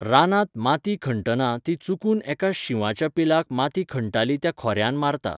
रानांत माती खणटना ती चुकून एका शिंवाच्या पिलाक माती खणटाली त्या खोर्यान मारता.